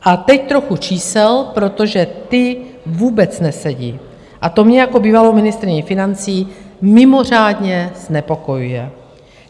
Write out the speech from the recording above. A teď trochu čísel, protože ta vůbec nesedí, a to mě jako bývalou ministryni financí mimořádně znepokojuje.